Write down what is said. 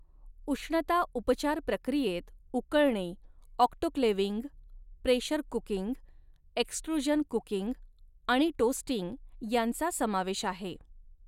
उष्णता उपचार प्रक्रियेत उकळणे, autoclaving, pressure cooking, extrusion cooking आणि टोस्टिंग, यांचा समावेश आहे.